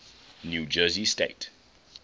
new jersey state